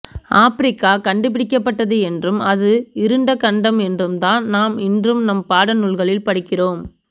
Africa கண்டுபிடிக்கப்பட்டது என்றும் அது இருண்ட கண்டம் என்றும்தான் நாம் இன்றும் நம் பாடநூல்களில் படிக்கிறோம்